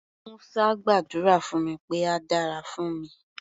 Musa gbàdúrà fún mi pé á dára fún mi.